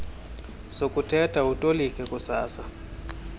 sokuthetha utolike ususa